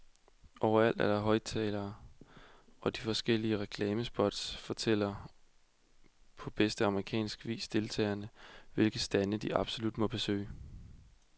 Overalt er der højtalere og de forskellige reklamespots fortæller på bedste amerikansk vis deltagerne, hvilke stande de absolut må besøge.